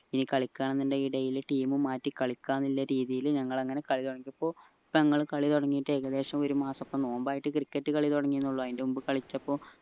ഇനി കളിക്കാന്നിണ്ടേൽ daily team മാറ്റി കളിക്ക എന്ന രീതിയില് ഞങ്ങളങ്ങനെ കാളി തുടങ്ങിയപ്പോ കാളി തുടങ്ങീട് ഏകദേശം ഒരു മാസം ഒക്കെ നോമ്പ് ആയിട്ട് cricket കളി തുടങ്ങിയെന്നെ ഉള്ളു അയിന്റെ മുമ്പ് കളിച്ചപ്പോ